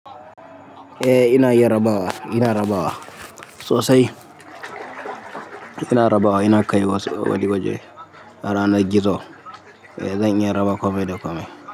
Eh ina iya rabawa, ina rabawa sosai. Ina rabawa, ina kai waje-waje a ranar gizo. Eh zan iya raba komai da komai.